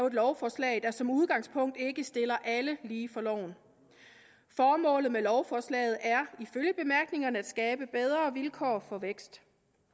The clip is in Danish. et lovforslag der som udgangspunkt ikke stiller alle lige for loven formålet med lovforslaget er ifølge bemærkningerne at skabe bedre vilkår for vækst